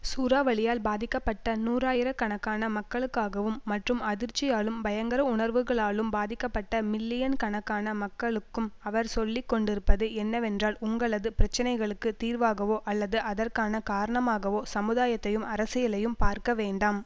சூறாவளியால் பாதிக்கப்பட்ட நூறாயிர கணக்கான மக்களுக்காகவும் மற்றும் அதிர்ச்சியாலும் பயங்கர உணர்வுகளாலும் பாதிக்கப்பட்ட மில்லியன் கணக்கான மக்களுக்கும் அவர் சொல்லி கொண்டிருப்பது என்னவென்றால் உங்களது பிரச்சனைகளுக்கு தீர்வாகவோ அல்லது அதற்கான காரணமாகவோ சமுதாயத்தையும் அரசியலையும் பார்க்க வேண்டாம்